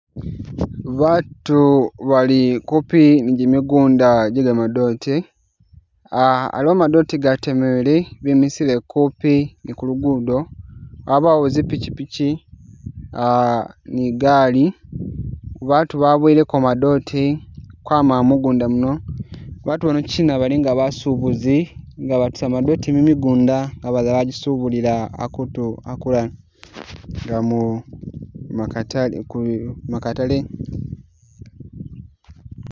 Batu bali kupi ni gyimigunda gye gamadoote ,ah aliwo madoote gatemebwele bemisile kupi ni kulugudo, wabawo zi'pikyipikyi ah ni gaali batu baboyeleko madoote kwama mugunda muno, batu bano kyina balinga nga basubuzi nga batusa madoote mumigunda amala bajisubulila akutu akulala nga mu makatale ku makatale